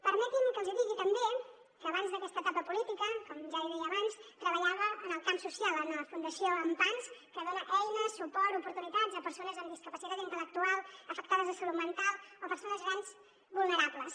permetin me que els hi digui també que abans d’aquesta etapa política com ja deia abans treballava en el camp social en la fundació ampans que dona eines suport oportunitats a persones amb discapacitat intel·lectual afectades de salut mental o persones grans vulnerables